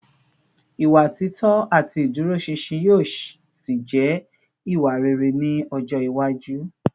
Ìwà títọ́ àti ìdúróṣinṣin yóò ṣì jẹ́ ìwà rere ní ọjọ́ iwájú